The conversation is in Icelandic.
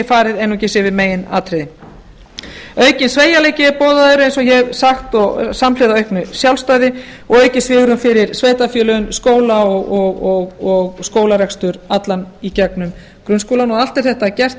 farið einungis yfir meginatriði aukinn sveigjanleiki er boðaður eins og ég hef sagt samhliða auknu sjálfstæði og aukið svigrúm fyrir sveitarfélögin skóla og skólarekstur allan í gegnum grunnskólann og allt er þetta gert